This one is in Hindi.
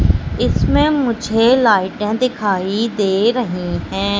इसमें मुझे लाइटें दिखाई दे रहे हैं।